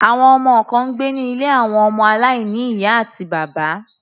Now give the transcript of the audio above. Àwọn ọmọ kan ń gbé ní ilé àwọn ọmọ aláìní ìyá àti bàbá.